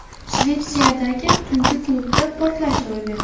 Shvetsiyadagi tungi klubda portlash ro‘y berdi.